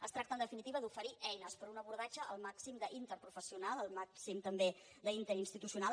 es tracta en definitiva d’oferir eines per a un abordatge el màxim d’interprofessional el màxim també d’interinstitucional